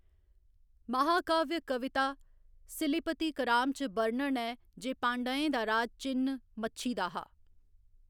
महाकाव्य कविता सिलिपतिकराम च बर्णन ऐ जे पाँड्यें दा राज चि'न्न मच्छी दा हा।